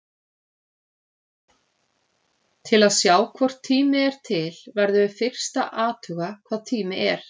Til að sjá hvort tími er til verðum við fyrst að athuga hvað tími er.